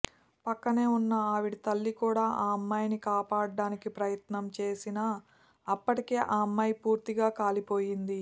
పక్కనే ఉన్న ఆవిడ తల్లి కూడా ఆ అమ్మాయిని కాపాడడానికి ప్రయత్నం చేసిన అప్పటికే ఆ అమ్మాయి పూర్తిగా కాలిపోయింది